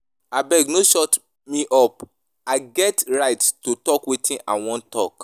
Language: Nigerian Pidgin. Abeg no shut me up I get rights to talk wetin I wan talk